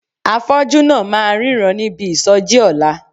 Afọ́jú náà máa ríran níbi ìsọjí ọ̀la.